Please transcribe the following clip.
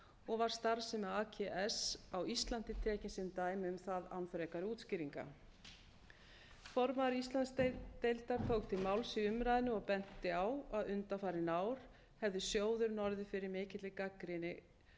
og var starfsemi ags á íslandi tekin sem dæmi um það án frekari útskýringa formaður íslandsdeildar tók til máls í umræðunni og benti á að undanfarin ár hefði sjóðurinn orðið fyrir mikilli gagnrýni